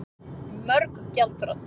Mörg gjaldþrot